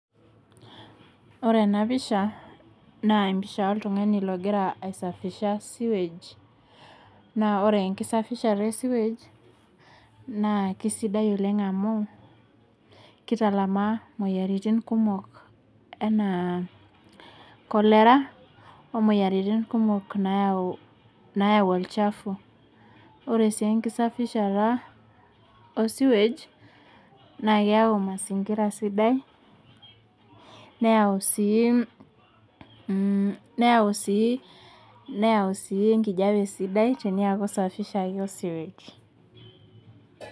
Ore ena pisha naa empisha oltung'ani ogira aesafisha sewage naa ore enkisafishata e sewage naa kisidai oleng amu kitalamaa moyiaritin kumok anaa cholera omoyiaritin kumok nayau olchafu ore sii enkisafishata osiwuej maa keyau mazingira sidai neyau sii mh neyau sii neyau sii enkijiape sidai teniaku isafishaki osiwuej.